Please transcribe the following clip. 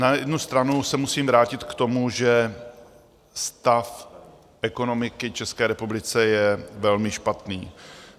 Na jednu stranu se musím vrátit k tomu, že stav ekonomiky České republiky je velmi špatný.